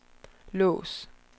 lås